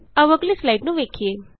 ਆਉ ਅਗਲੀ ਨੂੰ ਸਲਾਈਡ ਵੇਖੀਏ